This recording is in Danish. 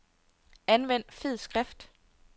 Anvend fed skrift.